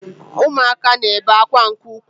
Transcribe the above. Ụmụaka na-ebe akwa nke ukwuu